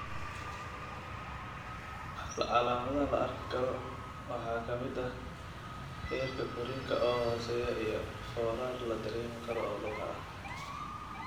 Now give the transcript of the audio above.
Calaamadaha la arki karo waxaa ka mid ah heerka korriinka oo hooseeya iyo foorar la dareemi karo oo lugaha ah.